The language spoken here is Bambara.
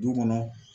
Du kɔnɔ